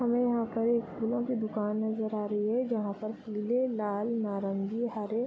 हमे यहाँ पे एक फूलों की दुकान नजर आ रही हैं जहां पर पीले लाल नारंगी हरे --